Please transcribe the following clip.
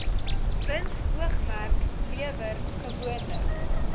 winsoogmerk lewer gewoonlik